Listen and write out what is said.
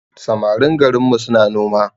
Samarin garinmu suna noma